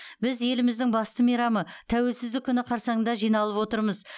біз еліміздің басты мейрамы тәуелсіздік күні қарсаңында жиналып отырмыз